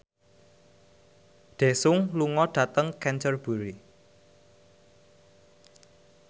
Daesung lunga dhateng Canterbury